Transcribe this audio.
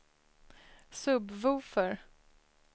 sub-woofer